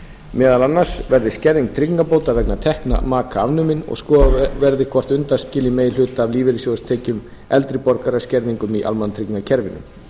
meðal annars verði skerðing tryggingabóta vegna tekna maka afnumin og að skoðað verði hvort undanskilja megi hluta af lífeyrissjóðstekjum eldri borgara skerðingum í almannatryggingakerfinu